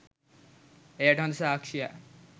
එයට හොද සාක්ෂියක්